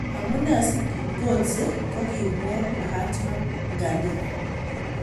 Amunee si Gotse kokiimwoog' Mahatma Gandhi